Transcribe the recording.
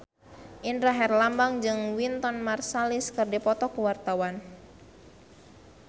Indra Herlambang jeung Wynton Marsalis keur dipoto ku wartawan